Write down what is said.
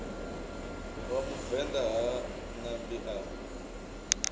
wa muvenḓa ha ṋambi a